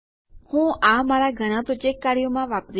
હું આ મારા ઘણાં પ્રોજેક્ટ કાર્યોમાં વાપરીશ